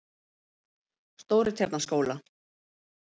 Stórutjarnaskóla